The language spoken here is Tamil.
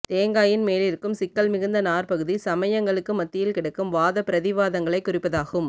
தேங்காயின் மேலிருக்கும் சிக்கல் மிகுந்த நார்பகுதி சமயங்களுக்கு மத்தியில் கிடக்கும் வாத பிரதிவாதங்களை குறிப்பதாகும்